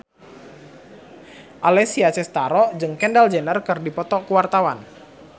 Alessia Cestaro jeung Kendall Jenner keur dipoto ku wartawan